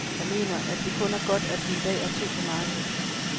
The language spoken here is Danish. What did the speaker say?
Jeg mener, at det kun er godt, at vi i dag er to på markedet.